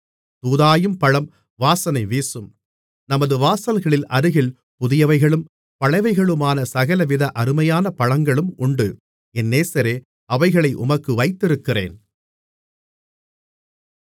தூதாயீம் பழம் வாசனை வீசும் நமது வாசல்களின் அருகில் புதியவைகளும் பழையவைகளுமான சகலவித அருமையான பழங்களும் உண்டு என் நேசரே அவைகளை உமக்கு வைத்திருக்கிறேன்